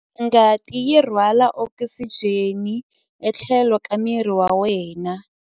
Ngati yi rhwala okisijeni etlhelo ka miri wa wena.